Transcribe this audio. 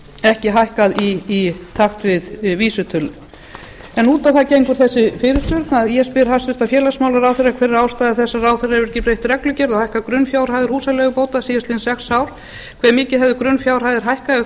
ekki hækkað í takt við vísitölu út á það gengur þessi fyrirspurn að ég spyr hæstvirts félagsmálaráðherra fyrstu hver er ástæða þess að ráðherra hefur ekki breytt reglugerð og hækkað grunnfjárhæðir húsaleigubóta síðastliðin sex ár annars hve mikið hefðu grunnfjárhæðirnar hækkað ef þær